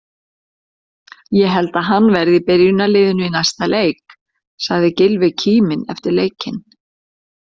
Ég held að hann verði í byrjunarliðinu í næsta leik, sagði Gylfi kíminn eftir leikinn.